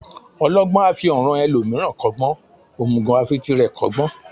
Ọlọgbọ́n a fi ọ̀ràn ẹlòmíràn kọ́gbọ́n, òmùgọ̀ a fi tirẹ̀ kọ́gbọ́n.